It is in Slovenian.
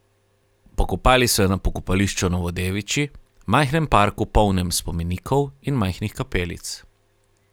Pokopali so jo na pokopališču Novodeviči, majhnem parku, polnem spomenikov in majhnih kapelic.